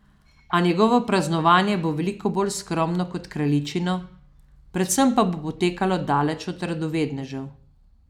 A njegovo praznovanje bo veliko bolj skromno kot kraljičino, predvsem pa bo potekalo daleč od radovednežev.